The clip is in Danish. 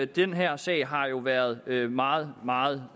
den her sag har jo været været meget meget